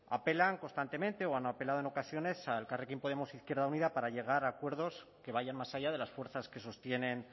apelan constantemente o han apelado en ocasiones a elkarrekin podemos izquierda unida para llegar a acuerdos que vayan más allá de las fuerzas que sostienen